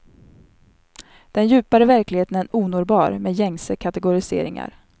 Den djupare verkligheten är onåbar med gängse kategoriseringar.